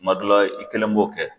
Kuma dɔ la i kelen b'o kɛ.